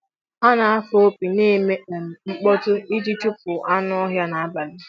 Ha na-afụ opi na-eme um mkpọtụ iji chụpụ anụ ọhịa n'abalị.